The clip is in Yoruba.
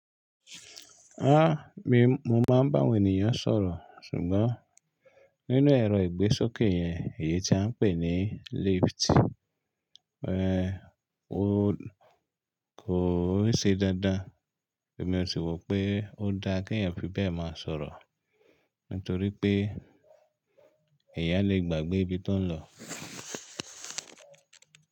Ah! Mi, mo máa ń bá ènìyàn sọ̀rọ̀ sùgbọ́n nínú ẹ̀rọ ìgbésókè yẹn èyí tí a ń pè ní lift, ẹ́, ó kò ṣe dáadáa èmi ó sì wò pé ó dáa kí èèyàn fi bẹ́ẹ̀ máa sọ̀rọ̀ nítorí pé ẹ̀yà lè gbàgbé ibi tó ń lọ.